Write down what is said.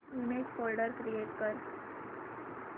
image folder create कर